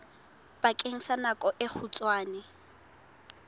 bakeng sa nako e kgutshwane